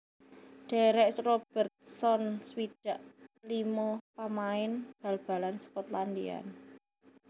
Derek Robertson swidak limo pamain bal balan Skotlandia